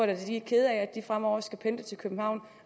at de er kede af at de fremover skal pendle til københavn